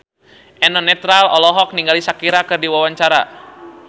Eno Netral olohok ningali Shakira keur diwawancara